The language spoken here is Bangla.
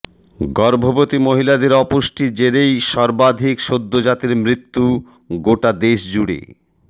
গর্ভবতী মহিলাদের অপুষ্টির জেরেই সর্বাধিক সদ্যজাতের মৃত্যু গোটা দেশ জুড়ে